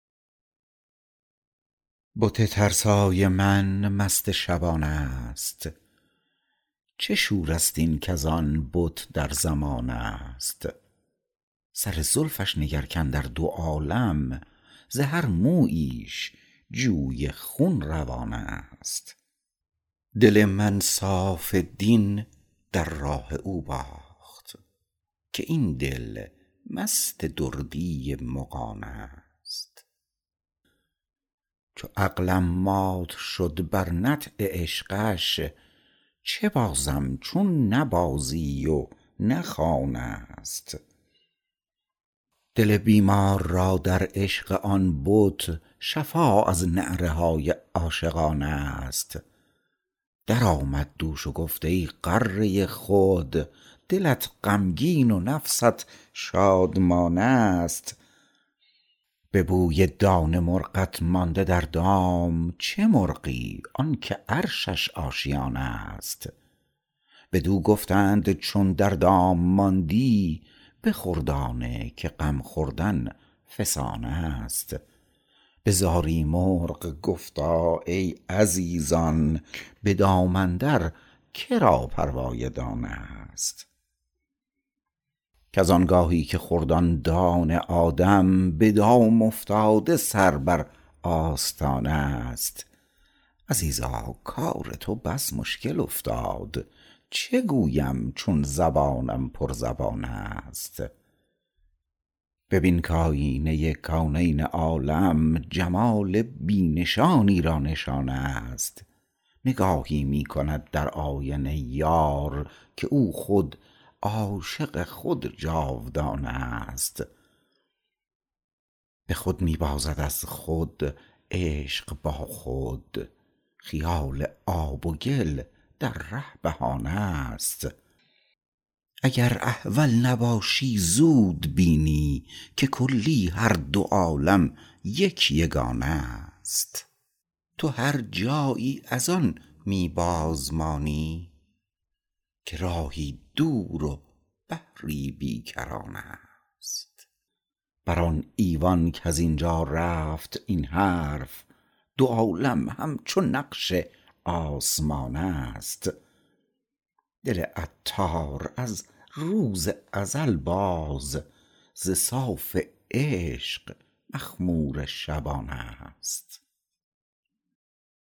بت ترسای من مست شبانه است چه شور است این کزان بت در زمانه است سر زلفش نگر کاندر دو عالم ز هر موییش جویی خون روانه است دل من صاف دین در راه او باخت که این دل مست دردی مغانه است چو عقلم مات شد بر نطع عشقش چه بازم چون نه بازی و نه خانه است دل بیمار را در عشق آن بت شفا از نعره های عاشقانه است درآمد دوش و گفت ای غره خود دلت غمگین و نفست شادمانه است به بوی دانه مرغت مانده در دام چه مرغی آنکه عرشش آشیانه است بدو گفتند چون در دام ماندی بخور دانه که غم خوردن فسانه است به زاری مرغ گفتا ای عزیزان به دام اندر که را پروای دانه است کز آنگاهی که خورد آن دانه آدم به دام افتاده سر بر آستانه است عزیزا کار تو بس مشکل افتاد چه گویم چون زبانم پر زبانه است ببین کایینه کونین عالم جمال بی نشانی را نشانه است نگاهی می کند در آینه یار که او خود عاشق خود جاودانه است به خود می بازد از خود عشق با خود خیال آب و گل در ره بهانه است اگر احول نباشی زود ببینی که کلی هر دو عالم یک یگانه است تو هرجایی از آن می بازمانی که راهی دور و بحری بی کرانه است بر آن ایوان کز اینجا رفت این حرف دو عالم همچو نقش آسمانه است دل عطار از روز ازل باز ز صاف عشق مخمور شبانه است